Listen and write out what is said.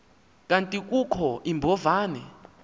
kanti kukho iimbovane